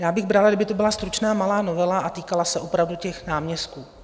Já bych brala, kdyby to byla stručná malá novela a týkala se opravdu těch náměstků.